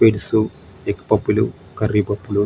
egg puff లు curry puff లు--